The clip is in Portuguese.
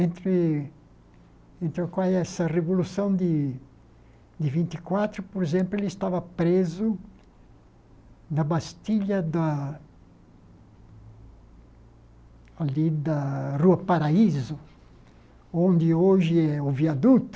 Entre entre a essa revolução de de vinte e quatro, por exemplo, ele estava preso na Bastilha da ali da Rua Paraíso, onde hoje é o Viaduto.